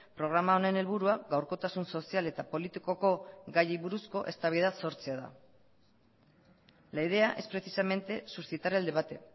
programa honen helburua gaurkotasun sozial eta politikoko gaiei buruzko eztabaida sortzea da la idea es precisamente suscitar el debate